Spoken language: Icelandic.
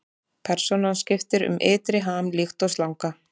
Persónan skiptir um ytri ham líkt og slanga.